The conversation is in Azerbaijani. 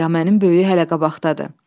Həngamənin böyüyü hələ qabaqdadır.